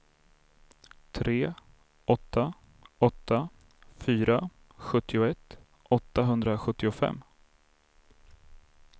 tre åtta åtta fyra sjuttioett åttahundrasjuttiofem